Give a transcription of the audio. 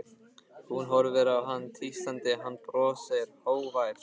Hún horfir á hann tístandi, hann brosir, hógvær.